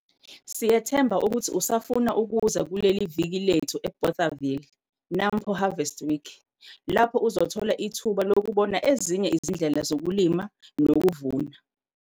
Sithemba ukuthi usafuna ukuza kuleviki lethu eBothaville, Nampo Harvest Week,. Lapho uzothola ithuba lokubona ezinye izindlela zokulima nokuvuna.